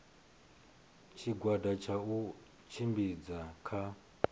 tshigwada tsha u tshimbidza tsha